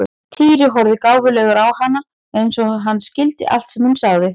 Týri horfði gáfulegur á hana eins og hann skildi allt sem hún sagði.